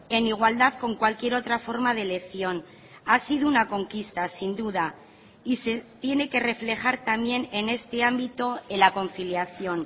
en igualdad con cualquier otra forma de elección ha sido una conquista sin duda y se tiene que reflejar también en este ámbito en la conciliación